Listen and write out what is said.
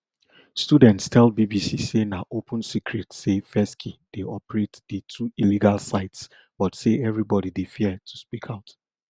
students tell bbc say na open secret say fesci dey operate di two illegal sites but say evribodi dey fear to speak out